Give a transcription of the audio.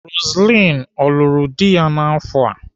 Roseline ọ lụrụ di ya n'afọ a?